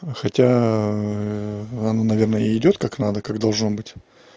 а хотя оно наверное идёт как надо как должно быть